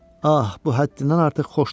Ah, bu həddindən artıq xoşdur.